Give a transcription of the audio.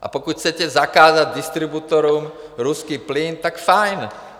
A pokud chcete zakázat distributorům ruský plyn, tak fajn.